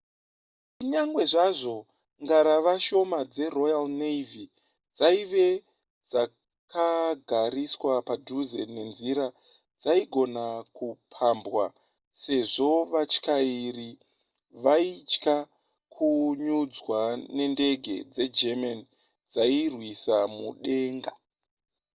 kunyangwe zvazvo ngarava shoma dzeroyal navy dzaive dzakagariswa padhuze nenzira dzaigona kupambwa sezvo vatyairi vaitya kunyudzwa nendege dzegerman dzairwisa mudenga